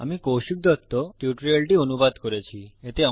আমি কৌশিক দত্ত টিউটোরিয়ালটি অনুবাদ করেছি